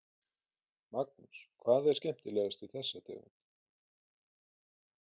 Magnús: Hvað er skemmtilegast við þessa tegund?